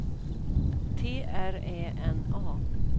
T R Ä N A